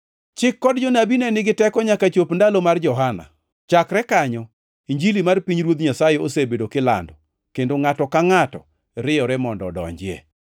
“Chik kod Jonabi ne nigi teko nyaka chop ndalo mar Johana. Chakre kanyo, Injili mar pinyruoth Nyasaye osebedo kilando, kendo ngʼato ka ngʼato riyore mondo odonjie.